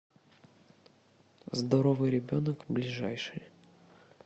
здоровый ребенок ближайший